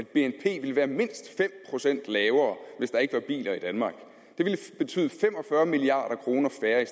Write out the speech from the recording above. bnp ville være mindst fem procent lavere hvis der ikke var biler i danmark det ville betyde fem og fyrre milliard kroner færre